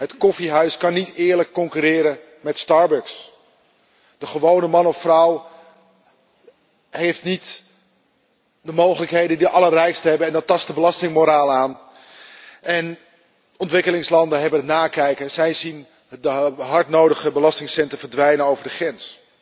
Het koffiehuis kan niet eerlijk concurreren met Starbucks. De gewone man of vrouw heeft niet de mogelijkheden die de allerrijksten hebben en dat tast de belastingmoraal aan. Ontwikkelingslanden hebben het nakijken. Zij zien de hard nodige belastingcenten verdwijnen over de grens.